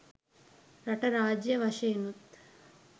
රට රාජ්‍ය වශයෙනුත්